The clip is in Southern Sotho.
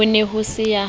ho ne ho se ya